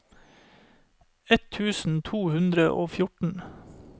ett tusen to hundre og fjorten